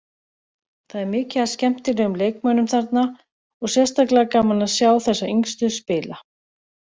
Það er mikið af skemmtilegum leikmönnum þarna og sérstaklega gaman að sjá þessa yngstu spila.